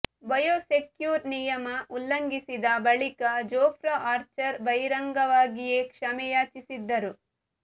bio secure ನಿಯಮ ಉಲ್ಲಂಘಿಸಿದ ಬಳಿಕ ಜೋಫ್ರಾ ಆರ್ಚರ್ ಬಹಿರಂಗವಾಗಿಯೇ ಕ್ಷಮೆ ಯಾಚಿಸಿದ್ದರು